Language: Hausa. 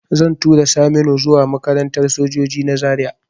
Zan tura Saminu zuwa makarantar sojoji na Zaria